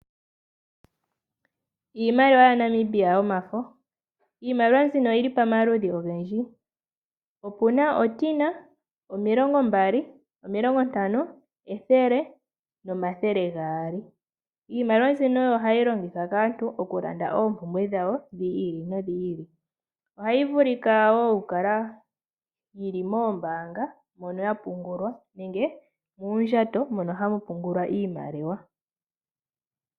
Iimaliwa yaNamibia yomafo. Iimaliwa mbika oyi li pamaludhi ogendji. Opu na omulongo, omilongo mbali, omilongo ntano, ethele nomathele gaali. Iimaliwa mbino oyo hayi longithwa kaantu okulanda oompumbwe dhawo dhi ili nodhi ili. Ohayi vulika wo okukala yili moombaanga mono yapungulwa, nenge muundjato mono hamu pungulwa iimaliwa.